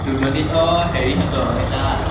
তুলনী আহ হেৰিহঁতৰ সেই তাত?